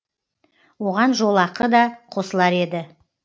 оған жолақы да қосылар еді